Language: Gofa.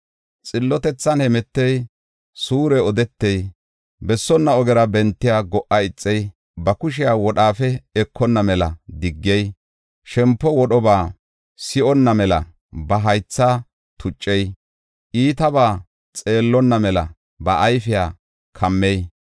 Xillotethan hemetey, suure odetey, bessonna ogera bentiya go77a ixey, ba kushiya wodhaafe ekonna mela diggey, shempo wodhoba si7onna mela ba haythaa tuccey, iitabaa xeellonna mela ba ayfiya kammey,